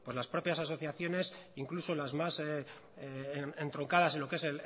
las propias asociaciones incluso las más entroncadas en lo que es